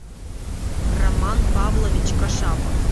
роман павлович кашапов